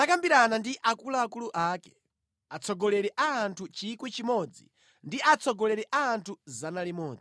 Davide anakambirana ndi akuluakulu ake, atsogoleri a anthu 1,000 ndi atsogoleri a anthu 100.